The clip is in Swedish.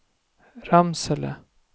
Ramsele